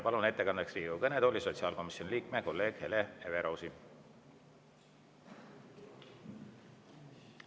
Palun ettekandeks Riigikogu kõnetooli sotsiaalkomisjoni liikme, kolleegi Hele Everausi.